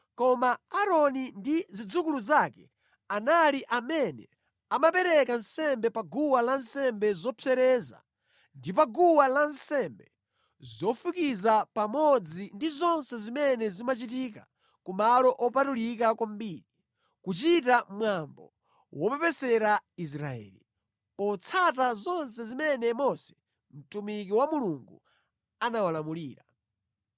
Koma Aaroni ndi zidzukulu zake anali amene amapereka nsembe pa guwa lansembe zopsereza ndi pa guwa lansembe zofukiza pamodzi ndi zonse zimene zimachitika ku malo opatulika kwambiri, kuchita mwambo wopepesera Israeli, potsata zonse zimene Mose mtumiki wa Mulungu anawalamulira.